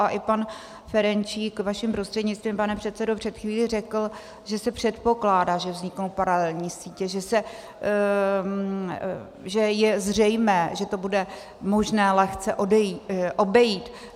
A i pan Ferjenčík vaším prostřednictvím, pane předsedo, před chvílí řekl, že se předpokládá, že vzniknou paralelní sítě, že je zřejmé, že to bude možné lehce obejít.